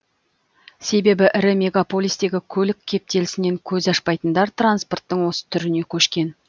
себебі ірі мегаполистегі көлік кептелісінен көз ашпайтындар транспорттың осы түріне көшкен